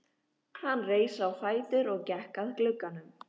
Hann reis á fætur og gekk að glugganum.